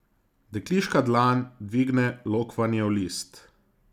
Dekliška dlan dvigne lokvanjev list.